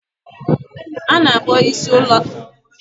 A na-akpọ isi ụlọ akụ na Naijiria "Central Bank of Nigeria" na bekee